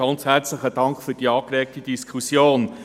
Ganz herzlichen Dank für die angeregte Diskussion.